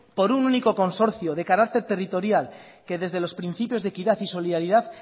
por un único consorcio de carácter territorial que desde los principios de equidad y solidaridad